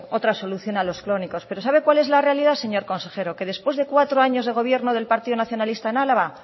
otra solución a los crónicos pero sabe cuál es la realidad señor consejero que después de cuatro años de gobierno del partido nacionalista en álava